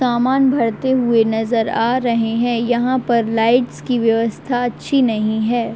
सामान भरते हुए नज़र आ रहे है। यहाँ पर लाइट्स की व्यवस्था अच्छी नहीं है।